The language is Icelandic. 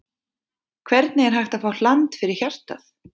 Hvernig er hægt að fá hland fyrir hjartað?